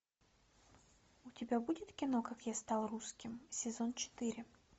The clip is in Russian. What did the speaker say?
у тебя будет кино как я стал русским сезон четыре